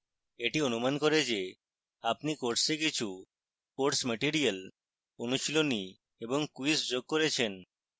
এটি অনুমান করে যে আপনি course কিছু course material অনুশীলনী এবং quizzes যোগ করেছেন